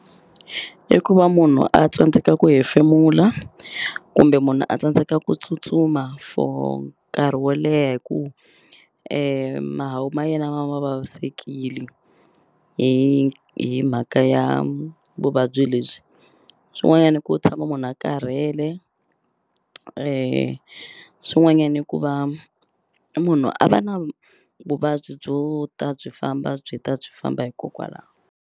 I ku va munhu a tsandzeka ku hefemula kumbe munhu a tsandzeka ku tsutsuma for nkarhi wo leha hi ku mahawu ma yena vavisekile hi mhaka ya vuvabyi lebyi swin'wanyani i ku tshama munhu a karhele swin'wanyani i ku va munhu a va na vuvabyi byo ta byi famba byi ta byi famba hikokwalaho.